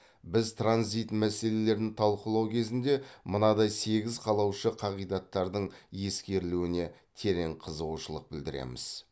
біз транзит мәселелерін талқылау кезінде мынадай сегіз қалаушы қағидаттардың ескерілуіне терең қызығушылық білдіреміз